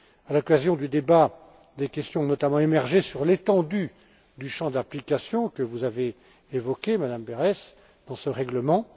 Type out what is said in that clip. À l'occasion du débat, des questions ont notamment émergé sur l'étendue du champ d'application que vous avez évoqué, Mme Berès de ce règlement.